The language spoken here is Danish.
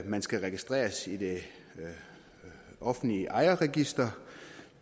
man skal registreres i det offentlige ejerregister